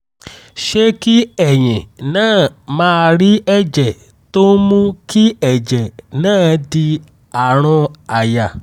ṣé kí ẹ̀yin náà máà rí ẹ̀jẹ̀ tó ń mú kí ẹ̀jẹ̀ náà di àrùn àyà?